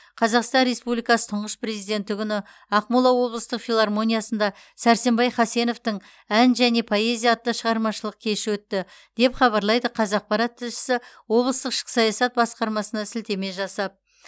қазақстан республикасы тұңғыш президенті күні ақмола облыстық филармониясында сәрсенбай хасеновтың ән және поэзия атты шығармашылық кеші өтті деп хабарлайды қазақпарат тілшісі облыстық ішкі саясат басқармасына сілтеме жасап